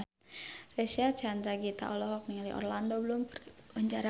Reysa Chandragitta olohok ningali Orlando Bloom keur diwawancara